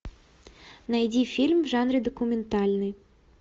найди фильм в жанре документальный